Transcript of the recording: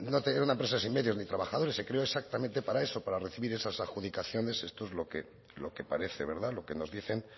no tenía una empresa sin medios ni trabajadores se creó exactamente para eso para recibir esas adjudicaciones esto es lo que parece verdad lo que nos dicen